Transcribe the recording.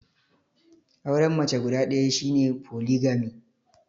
Auren mace guda ɗaya shi ne Foligami.